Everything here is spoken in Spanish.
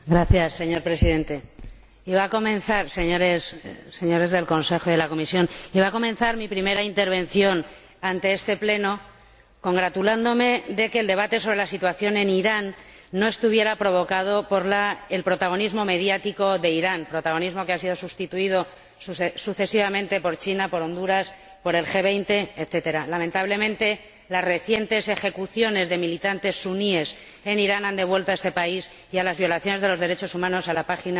Señor Presidente, señor Presidente en ejercicio del Consejo, señor Presidente de la Comisión, iba a comenzar mi primera intervención ante este Pleno congratulándome de que el debate sobre la situación en Irán no estuviera provocado por el protagonismo mediático de Irán, protagonismo que ha sido sustituido sucesivamente por China, por Honduras, por el G20, etc. Lamentablemente, las recientes ejecuciones de militantes suníes en Irán han devuelto a este país y a las violaciones de los derechos humanos a la página